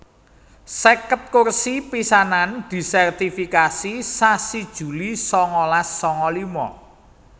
seket kursi pisanan disèrtifikasi sasi Juli sangalas sanga lima